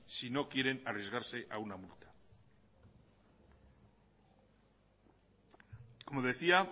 si no quieren arriesgarse a una multa como decía